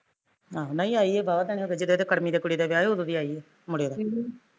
ਨਹੀਂ ਆਈ ਐ ਵਾਵਾਂ ਟੈਮ ਹੋਗਿਆ ਜਦੋਂ ਇਹਦੇ ਕੁੜਮੇ ਦੀ ਕੁੜੀ ਦਾ ਵਿਆਹ ਸੀ ਉਦੋਂ ਦੀ ਆਈ ਐ, ਮੁੜਿਆ ਦਾ ਅਹ